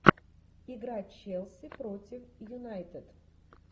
игра челси против юнайтед